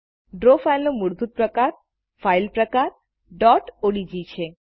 draw ફાઈલનો મૂળભૂત file પ્રકાર odg છે